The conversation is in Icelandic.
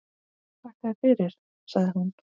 Þakka þér fyrir, sagði hún.